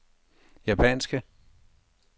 japanske